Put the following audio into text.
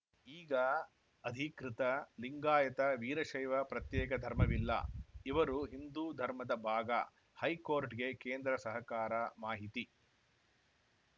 ಈಗ ಅಧಿಕೃತ ಲಿಂಗಾಯತ ವೀರಶೈವ ಪ್ರತ್ಯೇಕ ಧರ್ಮವಿಲ್ಲ ಇವರು ಹಿಂದೂ ಧರ್ಮದ ಭಾಗ ಹೈಕೋರ್ಟ್‌ಗೆ ಕೇಂದ್ರ ಸಹಕಾರ ಮಾಹಿತಿ